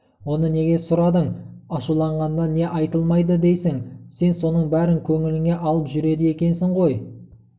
оны неге сұрадың ашуланғанда не айтылмайды дейсің сен соның бәрін көңіліңе алып жүреді екенсің ғой қой